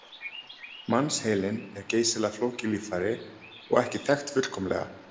Mannsheilinn er geysilega flókið líffæri og ekki þekkt fullkomlega.